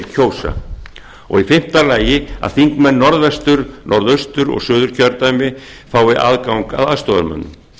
kjósa fimmta að þingmenn norðvestur norðaustur og suðurkjördæma fái aðgang að aðstoðarmönnum